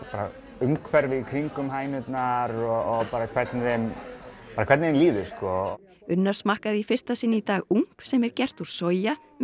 umhverfið í kringum hænurnar og hvernig þeim hvernig þeim líður sko unnar smakkaði í fyrsta sinn í dag oumph sem er gert úr soja með